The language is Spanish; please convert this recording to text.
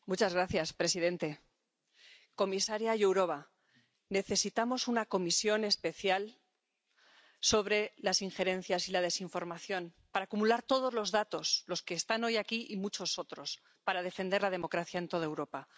Señor presidente, comisaria Jourová, necesitamos una comisión especial sobre las injerencias y la desinformación para acumular todos los datos —los que están hoy aquí y muchos otros— para defender la democracia en toda Europa.